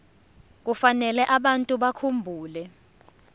kufanele abantu bakhumbule